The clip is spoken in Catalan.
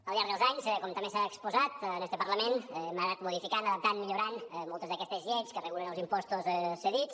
al llarg dels anys com també s’ha exposat en este parlament hem anat modificant adaptant millorant moltes d’aquestes lleis que regulen els impostos cedits